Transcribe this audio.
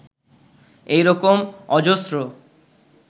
এই রকম অজস্র